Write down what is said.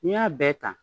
N'i y'a bɛɛ ta